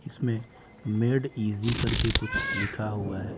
इसमें made easy करके कुछ लिखा हुआ है।